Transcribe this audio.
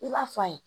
I b'a fɔ an ye